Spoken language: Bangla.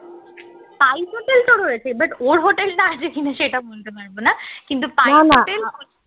spice hotel তো রয়েছে but ওর hotel টা যে কিনেছে এটা না কিন্তু spice hotel